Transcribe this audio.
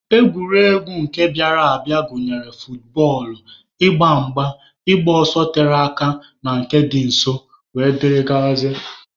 Egwuregwu nke bịara abịa gụnyere futbọọlụ, ịgba mgba, ịgba ọsọ tere aka na nke dị nso wdg.